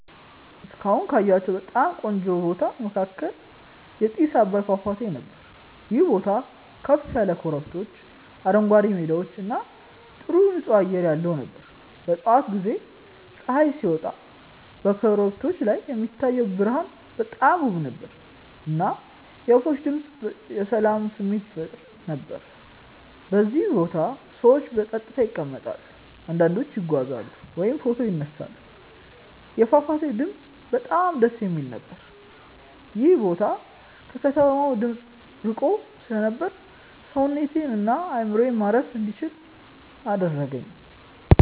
እስካሁን ካየሁት በጣም ቆንጆ ቦታ መካከል የጥስ አባይ ፏፏቴ ነበር። ይህ ቦታ ከፍ ያሉ ኮረብቶች፣ አረንጓዴ ሜዳዎች እና ጥሩ ንፁህ አየር ያለው ነበር። በጠዋት ጊዜ ፀሐይ ሲወጣ በኮረብቶቹ ላይ የሚታየው ብርሃን በጣም ውብ ነበር፣ እና የወፎች ድምፅ የሰላም ስሜት ይፈጥር ነበር። በዚያ ቦታ ሰዎች በጸጥታ ይቀመጣሉ፣ አንዳንዶቹ ይጓዛሉ ወይም ፎቶ ይነሳሉ። የፏፏቴው ድምፅ በጣም ደስ የሚል ነበር። ይህ ቦታ ከከተማ ድምፅ ርቆ ስለነበር ሰውነቴን እና አእምሮዬን ማረፍ እንዲችል አደረገኝ።